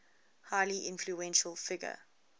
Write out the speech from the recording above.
highly influential figure